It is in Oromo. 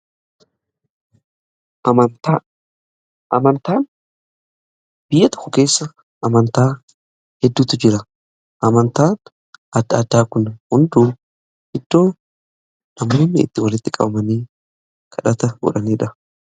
Biyya tokko keessa amantaa hedduutu jira. Amantaa adda addaa kun hunduu iddoo namoonni itti walitti qabamanii kadhata godhaniidha.